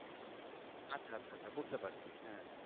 আচ্ছা আচ্ছা বুঝতে পারছি হ্যাঁ হ্যাঁ